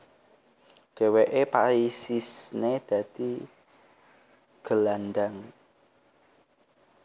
Dheweke paisisne dadi gelandang